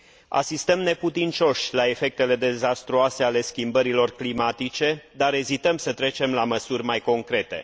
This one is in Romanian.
Asistăm neputincioși la efectele dezastruoase ale schimbărilor climatice, dar ezităm să trecem la măsuri mai concrete.